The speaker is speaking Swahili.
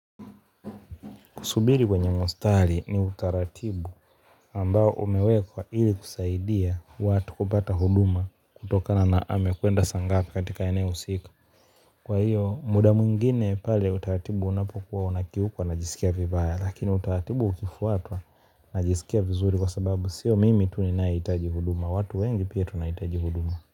Kusubiri kwenye mstari ni utaratibu ambao umewekwa ili kusaidia watu kupata hudumu kutokana na hamu ya kuenda sanaa katika eneo husika kwa hiyo muda mwingine pale utaratibu unapokuwa unakiukwa unajisikia vibaya lakini utaratibu ukifuatwa najisikia vizuri kwa sababu sio mimi tu ninayehitaji huduma watu wengi pia tunahitaji huduma.